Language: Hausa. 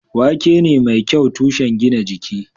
Wake ne mai kyau tushen gina jiki.